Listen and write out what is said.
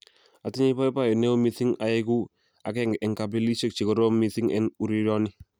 "Atinye boiboiyet neo mising aigu agenge en kilabisiek che kororon mising en urerioni.